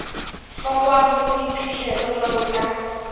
hlokwang le boiphihlelo jwalo ka